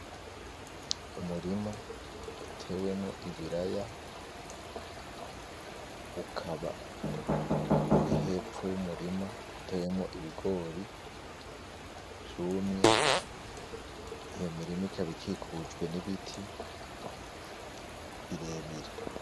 Umurima utewemwo ibiraya, ukaba uri hepfo y'umurima utewemwo ibigori vyumye, iyo mirima ikaba ikikujwe n'ibiti birebire.